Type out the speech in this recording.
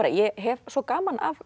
ég hef svo gaman af